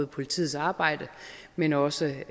politiets arbejde men også